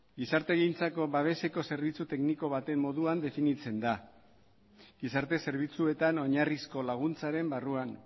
gizartegintzako babeseko zerbitzu tekniko baten moduan definitzen da gizarte zerbitzuetan oinarrizko laguntzaren barruan